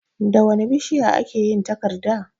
Da wane bishiya a ke yin takarda?